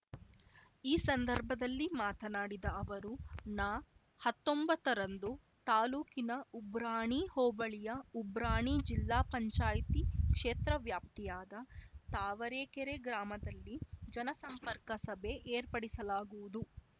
ಈ ಸಂದರ್ಭದಲ್ಲಿ ಮಾತನಾಡಿದ ಅವರು ನ ಹತ್ತೊಂಬತ್ತ ರಂದು ತಾಲೂಕಿನ ಉಬ್ರಾಣಿ ಹೋಬಳಿಯ ಉಬ್ರಾಣಿ ಜಿಲ್ಲಾ ಪಂಚಾಯಿತಿ ಕ್ಷೇತ್ರವ್ಯಾಪ್ತಿಯಾದ ತಾವರೆಕೆರೆ ಗ್ರಾಮದಲ್ಲಿ ಜನ ಸಂಪರ್ಕ ಸಭೆ ಏರ್ಪಡಿಸಲಾಗುವುದು